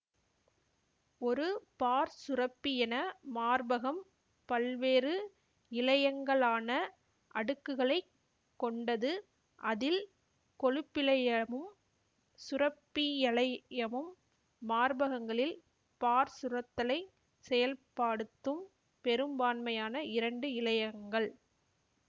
ஒரு பாற்சுரப்பியென மார்பகம் பல்வேறு இழையங்கலான அடுக்குகளை கொண்டது அதில் கொழுப்பிழையமும் சுரப்பிழையமும் மார்பகங்களில் பாற்சுரத்தலைச் செயல்பாடுத்தும் பெரும்பான்மையான இரண்டு இழையங்கள்